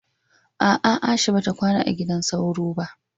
a'a Aisha bata kwana a gidan sauro ba